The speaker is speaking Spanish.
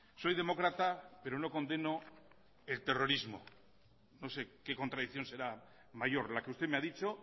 soy demócrata pero no condeno el terrorismo no sé qué contradicción será mayor la que usted me ha dicho